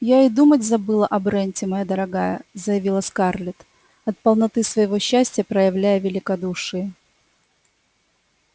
я и думать забыла о бренте моя дорогая заявила скарлетт от полноты своего счастья проявляя великодушие